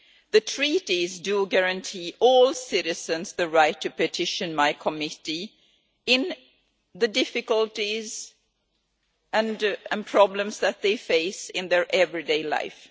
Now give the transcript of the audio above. The Treaties guarantee all citizens the right to petition my Committee on the difficulties and problems that they face in their everyday life.